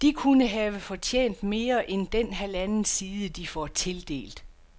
De kunne have fortjent mere end den halvanden side, de får tildelt.